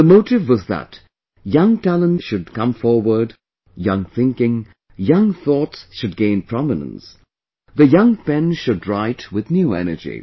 The motive was that young talents should come forward, young thinking, young thoughts should gain prominence, the young pen should write with new energy